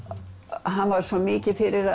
hann var svo mikið fyrir